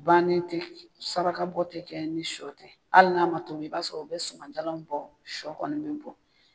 Bannen tɛ saraka bɔ tɛ kɛ ni sɔ tɛ, hali n'a ma tobi i b'a sɔrɔ o bɛ suma jala bɔ sɔ kɔni bɛ bɔ.